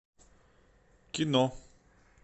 кино